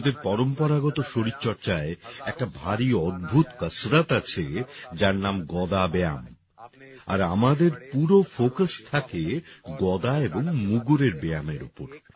ভারতের পরম্পরাগত শরীর চর্চায় একটা ভারি অদ্ভুত কসরত আছে যার নাম গদাব্যায়াম আর আমাদের পুরো ফোকাস থাকে গদা এবং মুগুরএর ব্যায়ামের ওপর